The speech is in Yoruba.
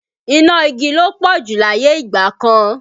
Iná igi ló pọ̀ jù láyé ìgbà kan